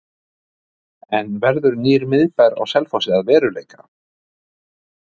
En verður nýr miðbær á Selfossi að veruleika?